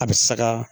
A bɛ saga